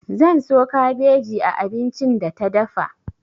Zan so kabeji a abincin da ta dafa.